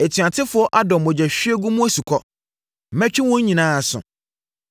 Atuatefoɔ adɔ mogyahwiegu mu asukɔ. Mɛtwe wɔn nyinaa aso.